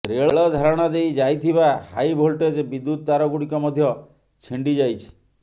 ରେଳ ଧାରଣା ଦେଇ ଯାଇଥିବା ହାଇଭୋଲଟେଜ୍ ବିଦ୍ୟୁତ ତାରଗୁଡ଼ିକ ମଧ୍ୟ ଛିଣ୍ଡି ଯାଇଛି